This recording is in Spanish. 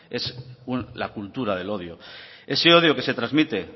es la cultura del odio ese odio que se transmite